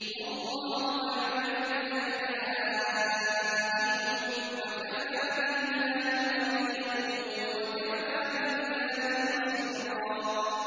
وَاللَّهُ أَعْلَمُ بِأَعْدَائِكُمْ ۚ وَكَفَىٰ بِاللَّهِ وَلِيًّا وَكَفَىٰ بِاللَّهِ نَصِيرًا